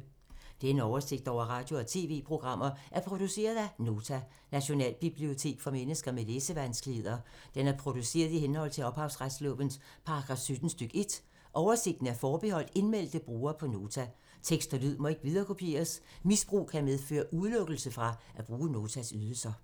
Denne oversigt over radio og TV-programmer er produceret af Nota, Nationalbibliotek for mennesker med læsevanskeligheder. Den er produceret i henhold til ophavsretslovens paragraf 17 stk. 1. Oversigten er forbeholdt indmeldte brugere på Nota. Tekst og lyd må ikke viderekopieres. Misbrug kan medføre udelukkelse fra at bruge Notas ydelser.